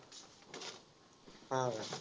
हा का?